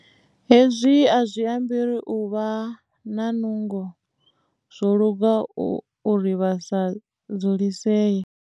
Hezwi a zwi ambi uri a vha na nungo. Zwo luga uri vha sa dzulisee.